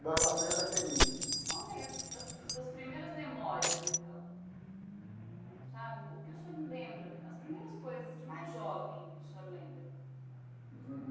Barbacena da FHEMIG. Conta aí as as suas primeiras memórias então sabe o que o senhor lembra as primeiras coisas de mais jovem que o senhor lembra?